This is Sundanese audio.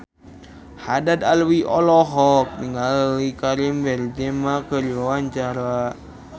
Haddad Alwi olohok ningali Karim Benzema keur diwawancara